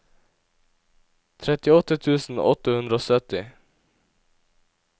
trettiåtte tusen åtte hundre og sytti